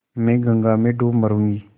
मैं गंगा में डूब मरुँगी